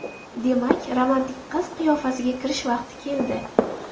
Demak, romantik qiz qiyofasiga kirish vaqti keldi.